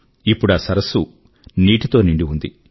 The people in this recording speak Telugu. ఇప్పుడా సరస్సు నీటి తో నిండి ఉంది